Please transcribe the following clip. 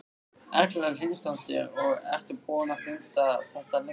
Erla Hlynsdóttir: Og ertu búinn að stunda þetta lengi?